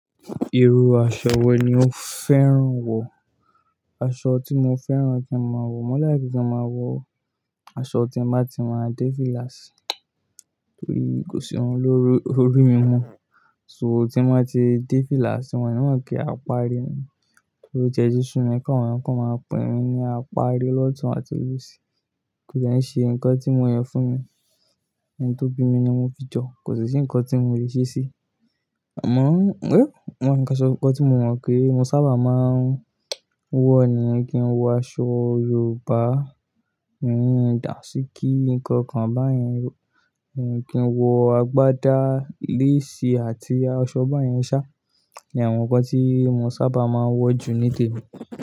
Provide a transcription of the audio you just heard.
Irú aṣọ wọ ni o fẹ́ràn wọ̀? Aṣọ tí mo fẹ́ràn kí n máa wọ̀, mo like kí n máa wọ̀ aṣọ tí n bá ti máa dé fíláàsì torí kò sí irun lórí orí mi mọ́. So tí mo bá ti dé fíláàsì wón o ni mo pé apári ni mi torí o tiẹ ti súnmi káwọ́n èyán kó máa pè mi lapari lọ́tùn àti lòṣì. Kò dè ṣe nǹkan tí mo yàn fúnmi, ẹni tó bí mi ni mo fi jọ, kò sì sí nǹkan tí mò lè ṣe sí. Amọ̀ ọ́n, oh, nǹkan sọ, nǹkan tí mo mọ̀ pé mo sábà máa n wọ̀ ni kí n wọ aṣọ Yorùbá, òní dànsíkí nǹkan kan báyẹn, kí n wọ agbádá, léèsì àti aṣọ báyẹn sá ni àwọn nǹkan tí mo sábà máa ń wọ̀ jù nílé mi.